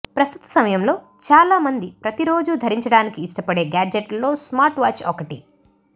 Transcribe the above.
ప్రస్తుత సమయంలో చాలా మంది ప్రతిరోజూ ధరించడానికి ఇష్టపడే గాడ్జెట్లో స్మార్ట్వాచ్ ఒకటి